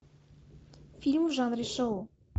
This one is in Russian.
фильм в жанре шоу